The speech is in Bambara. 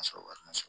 wari ma sɔrɔ